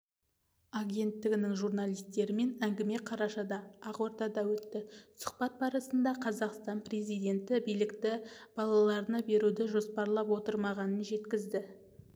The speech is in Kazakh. агенттігінің журналистерімен әңгіме қарашада ақордада өтті сұхбат барысында қазақстан президенті билікті балаларына беруді жоспарлап отырмағанын жеткізді